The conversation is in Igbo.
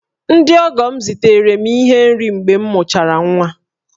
Ndị ọgọ m zitere m ihe nri mgbe m mụchara nwa